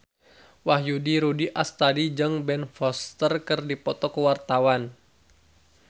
Wahyu Rudi Astadi jeung Ben Foster keur dipoto ku wartawan